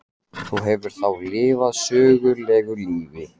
Þú hefur þá lifað sögulegu lífi?